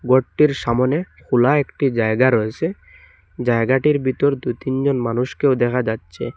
ঘরটির সামোনে খোলা একটি জায়গা রয়েছে জায়গাটির ভিতর দুই তিন জন মানুষকেও দেখা যাচ্ছে।